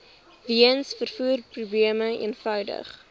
weens vervoerprobleme eenvoudig